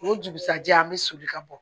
O dugusajɛ an bɛ soli ka bɔ